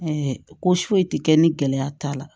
ko foyi tɛ kɛ ni gɛlɛya t'a la